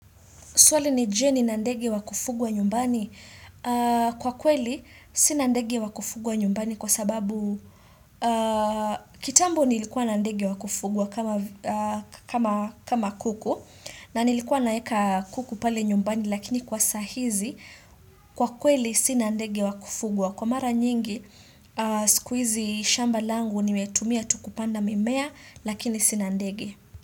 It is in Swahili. Swali ni je nina ndegi wa kufugwa nyumbani. Kwa kweli, sina ndege wa kufugwa nyumbani kwa sababu kitambo nilikuwa na ndege wa kufugwa kama kuku na nilikuwa naweka kuku pale nyumbani lakini kwa sasa hizi kwa kweli sina ndege wa kufugwa. Kwa mara nyingi, siku hizi shamba langu nimetumia tu kupanda mimea lakini sina ndege.